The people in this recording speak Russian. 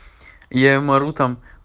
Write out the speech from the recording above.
я им ору там